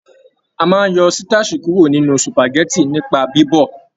A máa n yọ sitasi kuro nínú supágẹ̀tì nipa bibọ̀.